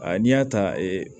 n'i y'a ta